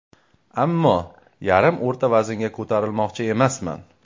Ammo yarim o‘rta vaznga ko‘tarilmoqchi emasman.